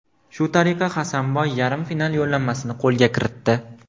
Shu tariqa Hasanboy yarim final yo‘llanmasini qo‘lga kiritdi.